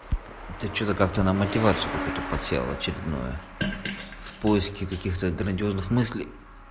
ты что-то как-то на мотивацию какой-то подсел очередную в поиске каких-то грандиозных мыслей